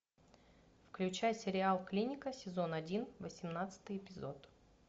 включай сериал клиника сезон один восемнадцатый эпизод